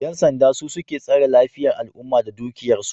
Yan sanda su suke tsare lafiyan al'umma da dukiyar su